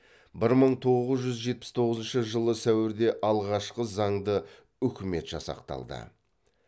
бір мың тоғыз жүз жетпіс тоғызыншы жылы сәуірде алғашқы заңды үкімет жасақталды